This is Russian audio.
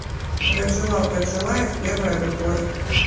гаджилав гаджилаев первая любовь